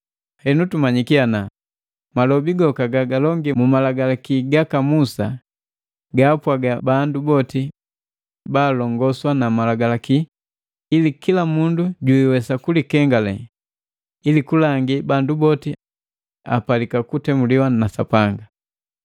“Henu tumanyiki ana malobi goka gagalongi mu Malagalaki gaka Musa, gaapwaga bandu boti baalongoswa na Malagalaki ili kila mundu jiiwesa kulikengale, ili kulangi bandu boti apalika kutemuliwa na Sapanga.